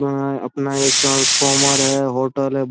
यहाँ अपना एक ट्रांस्फोमर है होटल हैं।